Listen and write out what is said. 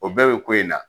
O bɛɛ bɛ ko in na